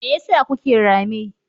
Me yasa kuke rame?